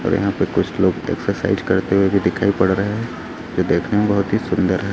और यहां पे कुछ लोग एक्सरसाइज करते हुए भी दिखाई पड़ रहे हैं जो देखने में बहुत ही सुंदर है।